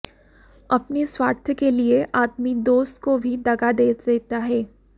अपने स्वार्थ के लिए आदमी दोस्त को भी दगा दे देता है